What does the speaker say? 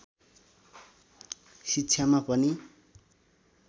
शिक्षामा पनि